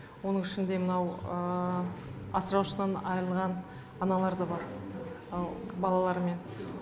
оның ішінде мынау асыраушысынан айырылған аналар да бар балалармен